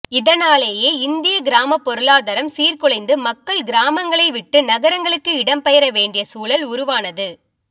இதனாலேயே இந்திய கிராம பொருளாதரம் சீர் குலைந்து மக்கள் கிராமங்களை விட்டு நகரங்களுக்கு இடம் பெயர வேண்டிய சூழல் உருவானது